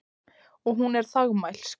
Og hún er þagmælsk.